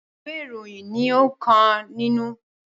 Ìwé ìròyìn ní onka nínú.